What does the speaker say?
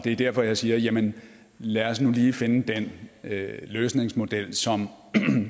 er derfor jeg siger jamen lad os nu lige finde den løsningsmodel som